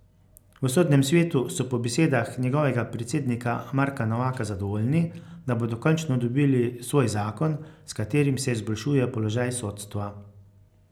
V Sodnem svetu so po besedah njegovega predsednika Marka Novaka zadovoljni, da bodo končno dobili svoj zakon, s katerim se izboljšuje položaj sodstva.